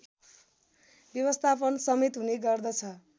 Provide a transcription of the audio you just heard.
व्यवस्थापनसमेत हुने गर्दछ